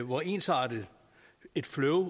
hvor ensartet et flow